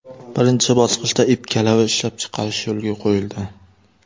Birinchi bosqichda ip-kalava ishlab chiqarish yo‘lga qo‘yildi.